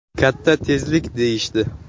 “Katta tezlik, deyishdi.